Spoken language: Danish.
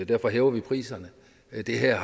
derfor hæver vi priserne det det her